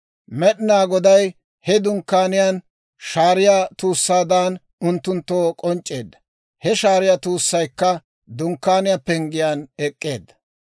Med'inaa Goday he Dunkkaaniyaan shaariyaa tuussaan unttunttoo k'onc'c'eedda; he shaariyaa tuussaykka Dunkkaaniyaa penggiyaan ek'k'eedda.